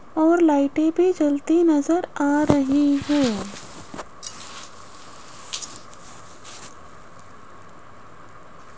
और लाइटें भी जलती नजर आ रही है।